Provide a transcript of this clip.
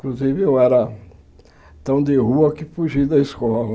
Inclusive eu era tão de rua que fugi da escola.